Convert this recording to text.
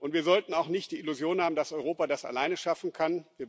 Wir sollten auch nicht die Illusion haben, dass Europa das alleine schaffen kann.